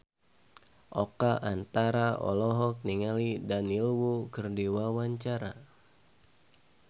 Oka Antara olohok ningali Daniel Wu keur diwawancara